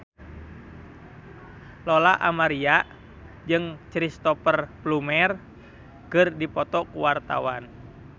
Lola Amaria jeung Cristhoper Plumer keur dipoto ku wartawan